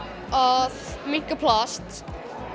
að minnka plast